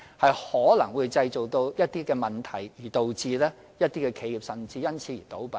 這可能會造成問題，甚至導致一些企業因而倒閉。